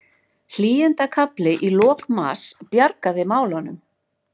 Hlýindakafli í lok mars bjargaði málunum